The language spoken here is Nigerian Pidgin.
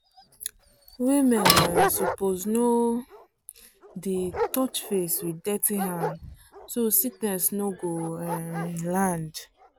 women um suppose no um dey touch face with dirty hand so sickness no go um land.